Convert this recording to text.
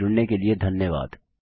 हमसे जुड़ने के लिए धन्यवाद